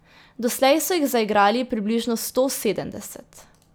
Doslej so jih zaigrali približno sto sedemdeset.